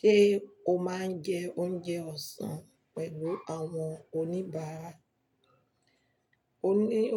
Ṣé o máa ń jẹ oúnjẹ ọ̀sán pẹ̀lú àwọn oníbàárà?